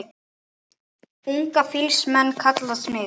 Unga fýls menn kalla smið.